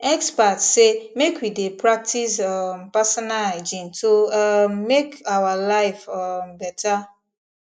experts say make we dey practice um personal hygiene to um make our life um better